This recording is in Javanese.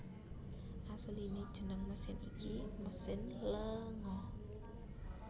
Asliné jeneng mesin iki mesin lenga